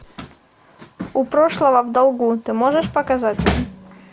у прошлого в долгу ты можешь показать